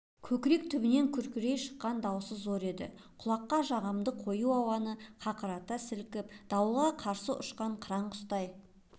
көкірек түбінен күркірей шыққан дауысы зор еді құлаққа жағымды қою ауаны қақырата сілкіп дауылға қарсы ұшқан қыран құстай